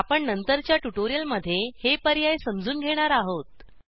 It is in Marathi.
आपण नंतरच्या ट्यूटोरियलमध्ये हे पर्याय समजून घेणार आहोत